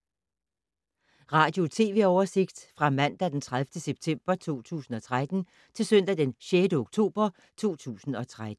Radio/TV oversigt fra mandag d. 30. september 2013 til søndag d. 6. oktober 2013